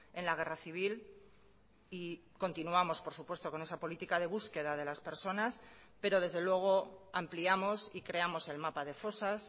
en la guerra civil y continuamos por supuesto con esa política de búsqueda de las personas pero desde luego ampliamos y creamos el mapa de fosas